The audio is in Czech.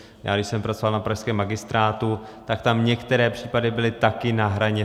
Já když jsem pracoval na pražském magistrátu, tak tam některé případy byly také na hraně.